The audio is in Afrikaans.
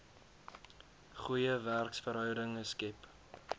goeie werksverhoudinge skep